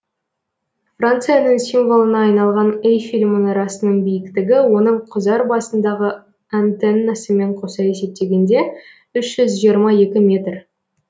францияның символына айналған эйфель мұнарасының биіктігі оның құзар басындағы антеннасымен қоса есептегенде үш жүз жиырма екі метр